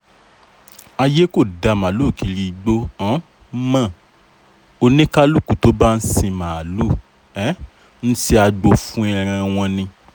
àyè kò dá màálùú kiri igbó um mọ́ oníkálukú tó bá ń sin màálùú um ń ṣe agbo fún ẹran wọn ni